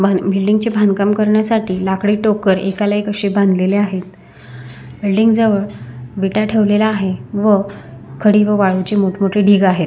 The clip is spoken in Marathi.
बिल्डिंग चे बांधकाम करण्यासाठी लाकडी टोकर एकाला एक अशे बांधलेले आहेत व बिल्डिंग जवळ विटा ठेवलेल्या आहे व खडी व वाळूचे मोठं मोठे ढीग आहे.